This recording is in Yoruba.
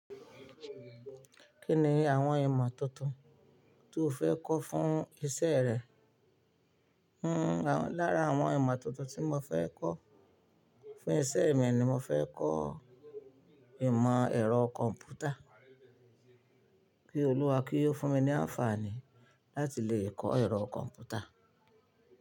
Kí ni àwọn ìmọ̀ tuntun tí o fẹ́ kọ́ fún iṣẹ́ rẹ? N ó lára àwọn ìmọ̀ tuntun tí mo fẹ́ kọ́ fún iṣẹ́ mi ni mo fẹ́ kọ ìmọ̀ ẹ̀rọ kọ̀m̀pútà. Kí Olúwa kí ó fún mi ní àǹfààní láti lè kọ́ ẹ̀rọ kọ̀m̀pútà.